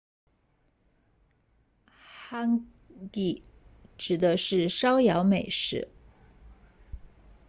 hangi 指的是烧窑美食